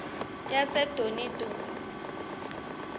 yasedonidoni